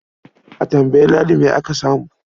A tambayi Ladi me aka samu.